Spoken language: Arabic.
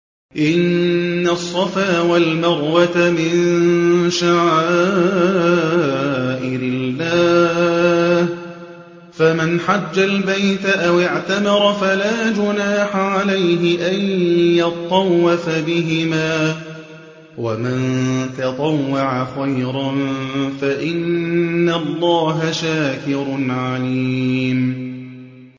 ۞ إِنَّ الصَّفَا وَالْمَرْوَةَ مِن شَعَائِرِ اللَّهِ ۖ فَمَنْ حَجَّ الْبَيْتَ أَوِ اعْتَمَرَ فَلَا جُنَاحَ عَلَيْهِ أَن يَطَّوَّفَ بِهِمَا ۚ وَمَن تَطَوَّعَ خَيْرًا فَإِنَّ اللَّهَ شَاكِرٌ عَلِيمٌ